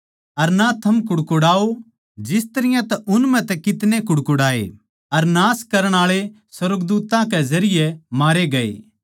अर ना थम कुड़कुड़ाओ जिस तरियां तै उन म्ह कितने कुड़कुड़ाए अर नाश करण आळै सुर्गदूत्तां कै जरिये मारे गये